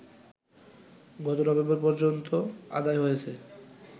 গত নভেম্বর পর্যন্তআদায় হয়েছে